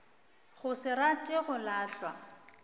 go se rate go lalwa